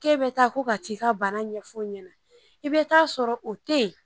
K'e be taa ko ka t'i ka bana ɲɛfɔ ɲɛnɛ i be t'a sɔrɔ o te yen